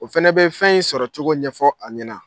O fɛnɛ bɛ fɛn in sɔrɔcogo ɲɛfɔ a ɲɛna.